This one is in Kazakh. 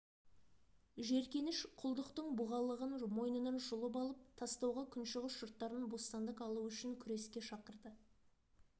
жеркеніш құлдықтың бұғалығын мойнынан жұлып алып тастауға күншығыс жұрттарын бостандық алу үшін күреске шақырды